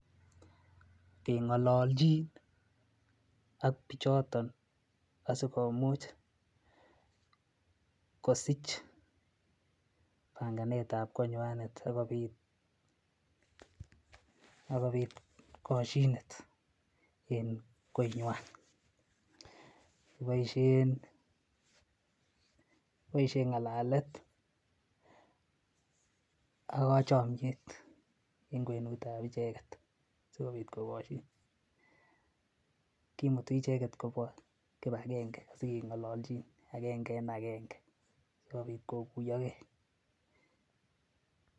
Kengololjin ak pichoton asikomuch kosich panganet ab konywanet akopit akopit koshinet en konywan kiboishen kiboishen ngalalet ak kochomyet en kwenut ab icheget asikopit kogoshin kimuti icheget kobwaa kibagenge asigengololchin agenge en agenge asikopit koguyogee